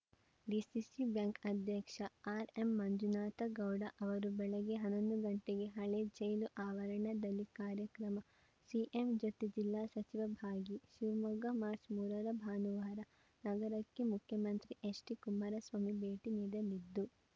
DCC bank ಅಧ್ಯಕ್ಷ R M Manjunathagowda ಅವರು ಬೆಳಗ್ಗೆ ಹನ್ನೊಂದು ಗಂಟೆಗೆ ಹಳೆಜೈಲು ಆವರಣದಲ್ಲಿ ಕಾರ್ಯಕ್ರಮ ಸಿಎಂ ಜೊತೆ ಜಿಲ್ಲಾ ಸಚಿವ ಭಾಗಿ ಶಿವಮೊಗ್ಗ ಮಾರ್ಚ್ ಮೂರರ ಭಾನುವಾರ ನಗರಕ್ಕೆ ಮುಖ್ಯಮಂತ್ರಿ ಎಚ್‌ ಡಿ ಕುಮಾರಸ್ವಾಮಿ ಭೇಟಿ ನೀಡಲಿದ್ದು